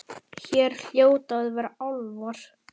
Hér hljóta að vera álfar.